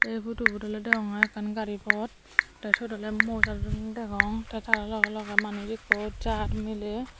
ei photobut oley deyongey ekkan gari phot tey siyot oley moj adodonney degong tey tara logey logey manuj ikko jaar miley.